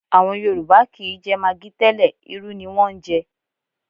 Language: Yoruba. À̀wọn Yorùbá kì í jẹ magi tẹ́lẹ̀, irú ni wọ́n ń jẹ